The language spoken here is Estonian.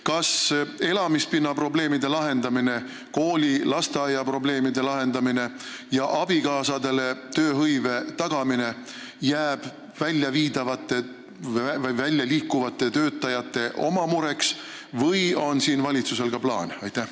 Kas elamispinna, koolide ja lasteaedadega seotud probleemide lahendamine ning abikaasadele tööhõive tagamine jääb pealinnast välja liikuvate töötajate oma mureks või on valitsusel mõni plaan?